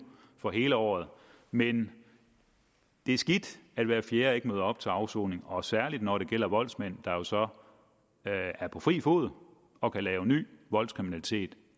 for hele året men det er skidt at hver fjerde ikke møder op til afsoning og særligt når det gælder voldsmænd der jo så er på fri fod og kan lave ny voldskriminalitet